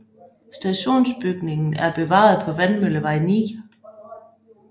Stationsbygningen er bevaret på Vandmøllevej 9